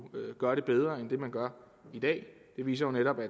gøre det bedre end man gør i dag det viser netop at